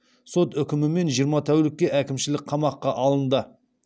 сот үкімімен жиырма тәулікке әкімшілік қамаққа алынды